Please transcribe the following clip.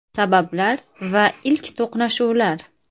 Sabablar va ilk to‘qnashuvlar.